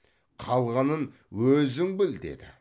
қалғанын өзің біл деді